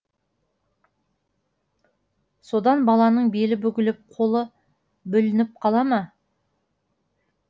содан баланың белі бүгіліп қолы бүлініп қала ма